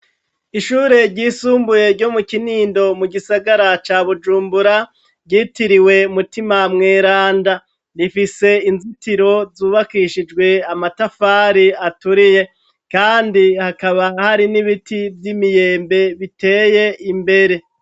Ishure ryisumbuye ryo mu kinindo mu gisagara ca bujumbura, ryitiriwe umutima mweranda ,rifise inzitiro zubakishijwe amatafari aturiye, kandi hakaba hari n'ibiti Vy'imiyembe biteye imbere.